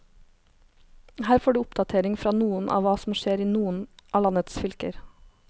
Her får du oppdatering fra noen av hva som skjer i noen av landets fylker.